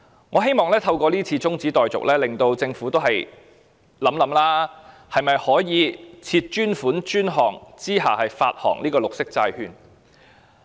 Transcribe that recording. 我希望透過中止待續議案，令政府想一想是否可以設立專款專項來發行綠色債券。